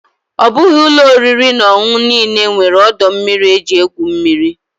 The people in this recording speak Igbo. Ọ bụghị ụlọ oriri na ọṅụṅụ niile nwere ọdọ mmiri eji egwu mmiri.